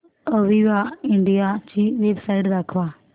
Aviva India ची website दाखवा